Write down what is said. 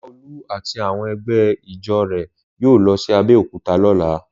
Láolú àti àwọn ẹgbẹ́ ijó rẹ̀ yóò lọ sí Abẹ́òkúta lọ́la.